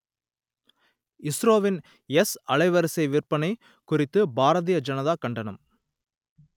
இஸ்ரோவின் எஸ் அலைவரிசை விற்பனை குறித்து பாரதிய ஜனதா கண்டனம்